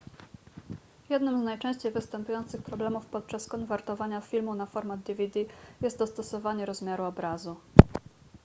jednym z najczęściej występujących problemów podczas konwertowania filmu na format dvd jest dostosowanie rozmiaru obrazu